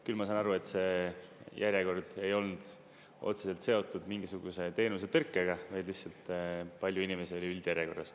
Küll ma saan aru, et see järjekord ei olnud otseselt seotud mingisuguse teenuse tõrkega, vaid lihtsalt palju inimesi oli üldjärjekorras.